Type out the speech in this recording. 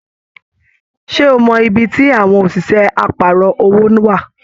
Ṣe o mọ ibí tí àwọn òṣìṣẹ́ àparọ̀ owó wa?